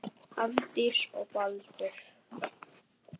Hafdís og Baldur.